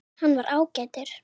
Hann var ágætur